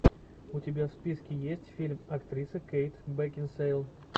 у тебя в списке есть фильм актрисы кейт бекинсейл